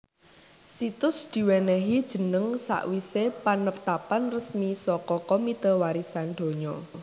Situs diwènèhi jeneng sawisé panetapan resmi saka Komite Warisan Donya